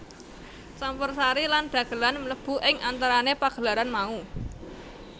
Campursari lan dhagelan mlebu ing antarané pagelaran mau